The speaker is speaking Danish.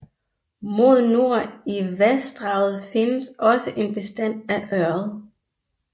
Mod nord i vassdraget findes også en bestand af ørred